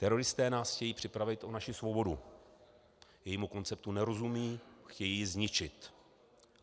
Teroristé nás chtějí připravit o naši svobodu, jejímu konceptu nerozumějí, chtějí ji zničit.